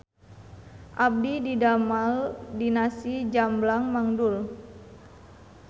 Abdi didamel di Nasi Jamblang Mang Dul